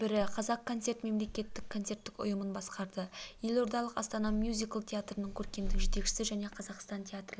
бірі қазақконцерт мемлекеттік концерттік ұйымын басқарды елордалық астана мюзикл театрының көркемдік жетекшісі және қазақстан театрлар